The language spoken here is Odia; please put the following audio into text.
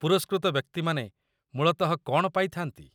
ପୁରସ୍କୃତ ବ୍ୟକ୍ତିମାନେ ମୂଳତଃ କ'ଣ ପାଇଥା'ନ୍ତି?